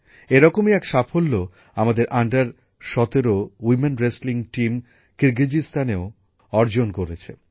এ রকমই এক সাফল্য আমাদের অনুর্ধ ১৭ মহিলাদের রেসলিং টিম কিরগিজস্তানেও অর্জন করেছে